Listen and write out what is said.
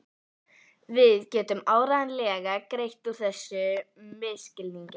Við getum áreiðanlega greitt úr þessum misskilningi.